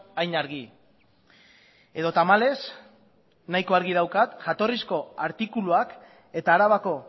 hain argi edo tamalez nahiko argi daukat jatorrizko artikuluak eta arabako